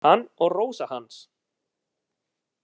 Hann og Rósa hans.